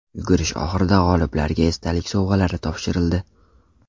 Yugurish oxirida g‘oliblarga esdalik sovg‘alari topshirildi.